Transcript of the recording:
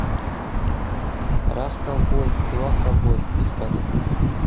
раз ковбой два ковбой искать